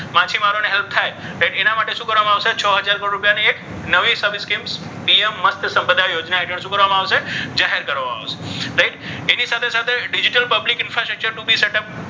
માછીમારોને help થાય તો એના માટે શું કરવામાં આવશે? છ હજાર કરોડ રૂપિયાની એક નવી sub scheme PM Matsya Sampada Yojana શું કરવામાં આવશે? જાહેર કરવામાં આવશે. right એની સાથે સાથે digital public infrastructure નું set up